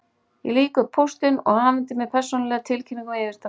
Ég lýk upp og pósturinn afhendir mér persónulega tilkynningu um yfirdrátt.